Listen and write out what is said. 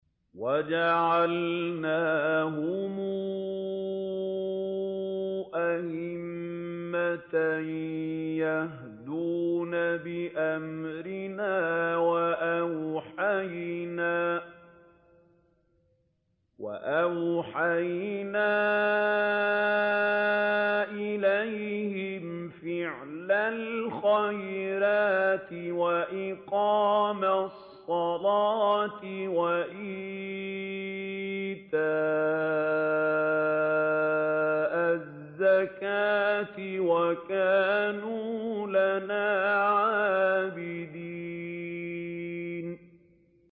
وَجَعَلْنَاهُمْ أَئِمَّةً يَهْدُونَ بِأَمْرِنَا وَأَوْحَيْنَا إِلَيْهِمْ فِعْلَ الْخَيْرَاتِ وَإِقَامَ الصَّلَاةِ وَإِيتَاءَ الزَّكَاةِ ۖ وَكَانُوا لَنَا عَابِدِينَ